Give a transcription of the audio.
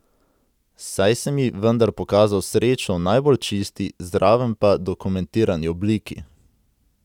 Saj sem ji vendar pokazal srečo v najbolj čisti, zraven pa dokumentirani obliki!